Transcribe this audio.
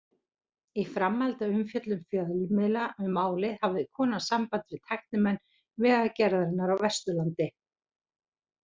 Í framhaldi af umfjöllun fjölmiðla um málið hafði kona samband við tæknimenn Vegagerðarinnar á Vesturlandi.